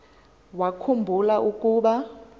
wakhu mbula ukuba